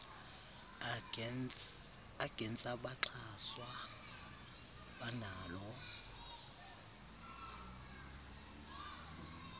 agents abaxhaswa banalo